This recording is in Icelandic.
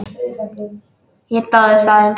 Ég dáðist að þeim.